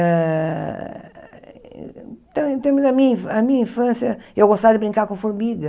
Ah então, em da minha infância, a minha infância eu gostava de brincar com formiga.